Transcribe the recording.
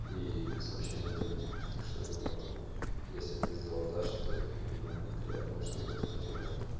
сообщение удалили то что я думаю если это сделала даша то ей как минимум неприятно что это обсуждают